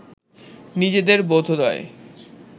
নিজেদের বোধোদয়